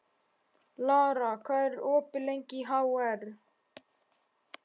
Lara, hvað er lengi opið í HR?